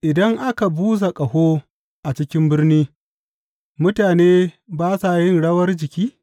Idan aka busa ƙaho a ciki birni mutane ba sa yin rawar jiki?